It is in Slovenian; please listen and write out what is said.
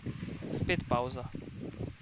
Spet pavza.